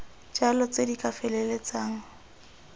jalo tse di ka feleltsang